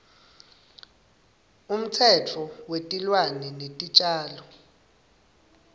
umtsetfo wetilwane netitjalo